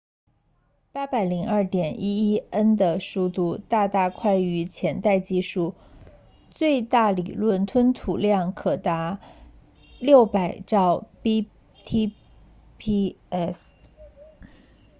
802.11n 的速度大大快于前代技术最大理论吞吐量可达 600mbit/s